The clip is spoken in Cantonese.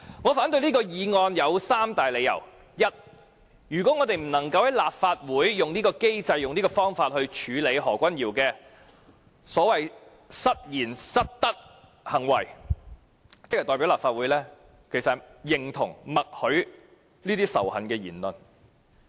我反對議案的理由如下：第一，如我們不能在立法會以此機制處理何君堯議員的失言、失德行為，便代表立法會認同和默許這種仇恨言論。